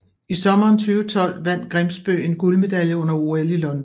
I sommeren 2012 vandt Grimsbø en guldmedalje under OL i London